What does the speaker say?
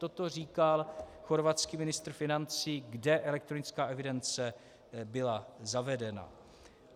Toto říkal chorvatský ministr financí, kde elektronická evidence byla zavedena.